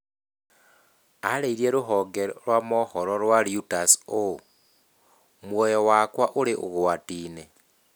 Aarĩirie rũhonge rwa mohoro rwa Reuters ũũ: "Muoyo wakwa ũrĩ ũgwati-inĩ".